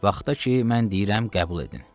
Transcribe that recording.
Vaxta ki, mən deyirəm, qəbul edin.